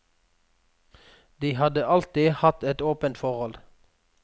De hadde alltid hatt et åpent forhold.